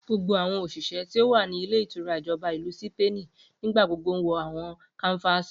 Gbogbo awọn oṣiṣẹ ti o wa ni ilé ìtura Ijọba Ilu Sipeeni nigbagbogbo wọ awọn kánfààsì.